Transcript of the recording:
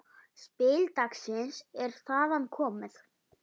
Spil dagsins er þaðan komið.